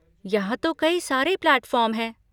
यहाँ तो कई सारे प्लैटफॉर्म हैं।